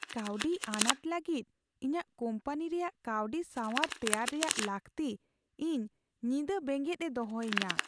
ᱠᱟᱹᱣᱰᱤ ᱟᱱᱟᱴ ᱞᱟᱹᱜᱤᱫ ᱤᱧᱟᱹᱜ ᱠᱚᱢᱯᱟᱱᱤ ᱨᱮᱭᱟᱜ ᱠᱟᱹᱣᱰᱤ ᱥᱟᱣᱟᱨ ᱛᱮᱭᱟᱨ ᱨᱮᱭᱟᱜ ᱞᱟᱹᱠᱛᱤ ᱤᱧ ᱧᱤᱫᱟᱹ ᱵᱮᱸᱜᱮᱫ ᱮ ᱫᱚᱦᱚᱭᱤᱧᱟᱹ ᱾